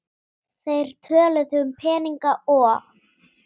Þeir töluðu um peninga og